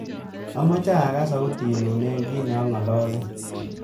Amache agaas sautinyu eng kiit nangololen